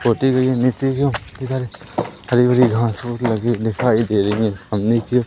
छोटी भी है नीचे भी और इधर हरी-भरी घांस-फूस लगी दिखाई दे रही हैं सामने की ओर --